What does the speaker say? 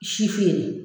Si feere